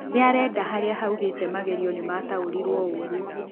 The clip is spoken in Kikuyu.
Nĩarenda harĩa haugĩte magerio nĩ mataũrirwo ũru.